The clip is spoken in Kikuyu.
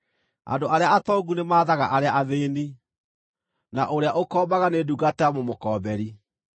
Andũ arĩa atongu nĩ mathaga arĩa athĩĩni, na ũrĩa ũkombaga nĩ ndungata ya mũmũkoomberi.